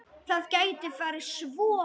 Það gæti farið svo.